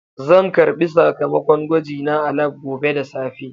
Zan karɓi sakamakon gwajina a lab gobe da safe.